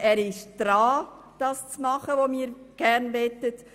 Er ist also daran, zu tun, was wir gerne möchten.